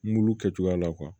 Mulu kɛ cogoya la